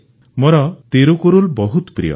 ପନ୍ ମରିୟପ୍ପନ୍ ମୋର ତିରୁକୁରୁଲ୍ ବହୁତ ପ୍ରିୟ